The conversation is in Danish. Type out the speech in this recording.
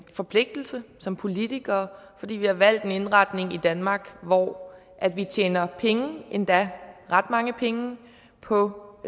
forpligtelse som politikere fordi vi har valgt en indretning i danmark hvor vi tjener penge endda ret mange penge på